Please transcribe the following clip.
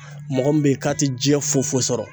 Mɔgɔ min be ye k'a tɛ jiɲɛn foyi foyi sɔrɔ